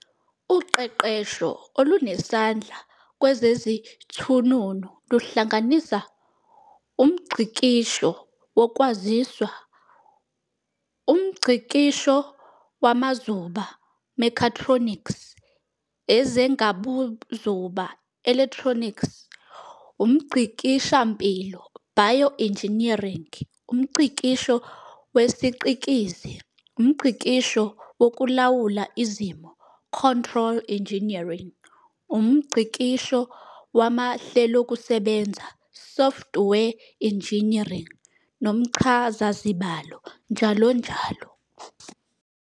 Uqeqesho olunesandla kwezezithununu luhlanganisa UmNgcikisho wokwaziswa, Umngcikisho wamazuba, "mechatronics", ezengabuzuba ", electronics, umngcikishampilo ", bioengineering, UmNgcikisho wesiCikizi, umNgcikisho wokulawula izimiso ", control engineering, umNgcikisho wamahlelokusebenza ", software engineering, nomchazazibalo, njll.